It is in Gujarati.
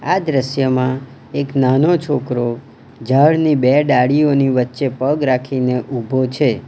આ દ્રશ્યમાં એક નાનો છોકરો ઝાડની બે ડાળીઓની વચ્ચે પગ રાખીને ઉભો છે.